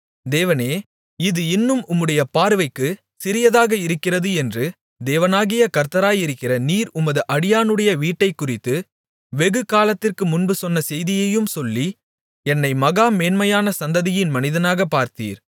தேவனே இது இன்னும் உம்முடைய பார்வைக்கு சிறியதாக இருக்கிறது என்று தேவனாகிய கர்த்தராயிருக்கிற நீர் உமது அடியானுடைய வீட்டைக்குறித்து வெகு காலத்திற்கு முன்பு சொன்ன செய்தியையும் சொல்லி என்னை மகா மேன்மையான சந்ததியின் மனிதனாகப் பார்த்தீர்